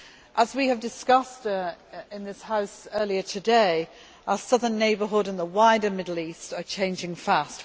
As we have discussed in this House earlier today, our Southern Neighbourhood and the wider Middle East are changing fast.